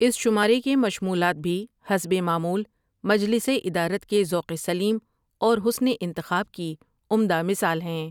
اس شمارے کے مشمولات بھی حسب معمول مجلس ادارت کے ذوق سلیم اور حسن انتخاب کی عمدہ مثال ہیں ۔